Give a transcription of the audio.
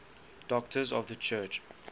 doctors of the church